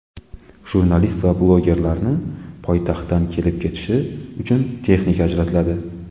Jurnalist va blogerlarni poytaxtdan kelib-ketishi uchun texnika ajratiladi.